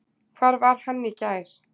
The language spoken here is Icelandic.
Hvar var hann í gær?